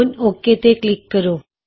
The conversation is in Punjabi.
ਹੁਣ ਔਕੇ ਤੇ ਕਲਿਕ ਕਰੋ